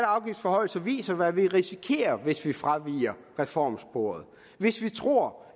og afgiftsforhøjelser viser hvad vi risikerer hvis vi fraviger reformsporet hvis vi tror